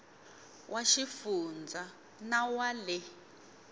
wa xifundza na wa le